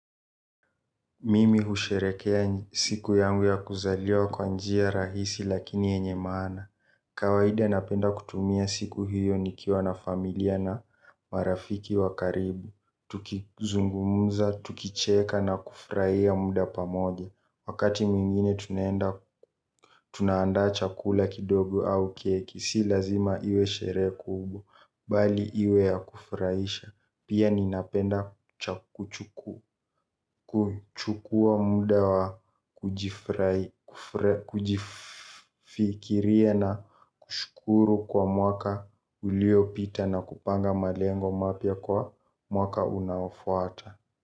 Mimi husherehekea siku yangu ya kuzaliwa kwa njia rahisi lakini yenye maana. Kawaida napenda kutumia siku hiyo nikiwa na familia na marafiki wa karibu. Tukizungumza, tukicheka na kufurahia muda pamoja. Wakati mwingine tunaenda, tunaanda chakula kidogo au keki. Si lazima iwe sherehe kubwa. Bali iwe ya kufurahisha. Pia ninapenda kuchukua muda wa kujifikiria na kuru kwa mwaka uliopita na kupanga malengo mapya kwa mwaka unaofuata.